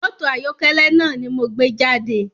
Mọ́tò ayọ̀kẹ́lẹ́ náà ni mo gbé jáde